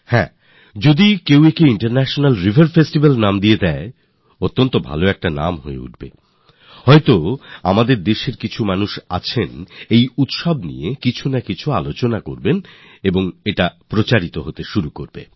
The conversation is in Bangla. হ্যাঁ যদি কেউ একে ইন্টারন্যাশনাল রিভার ফেস্টিভাল বলে দিতেন কিছু চটকদার শব্দ ব্যবহার করতেন তাহলে হয়তো আমাদের দেশের কিছু মানুষ তা নিয়ে আলাপ আলোচনা করতেন আর প্রচারও হয়ে যেত